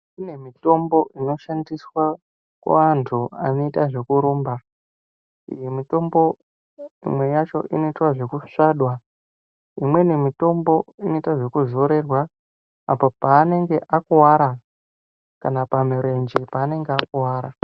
Kune mitombo inoshandiswa kuantu anoita zvekurumba iyi mitombo imwe yacho inoitwa zvekusvada imweni mitombo inoitwa zvekuzorerwa apo panenge akuwara kana pamurenje panenge akuwara.